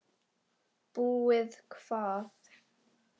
Búið hvað!